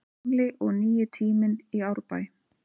Gamli og nýi tíminn í Árbæ